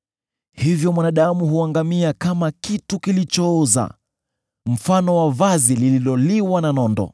“Hivyo mwanadamu huangamia kama kitu kilichooza, kama vazi lililoliwa na nondo.